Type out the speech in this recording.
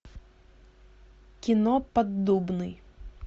кино поддубный